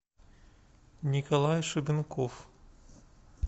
николай шубенков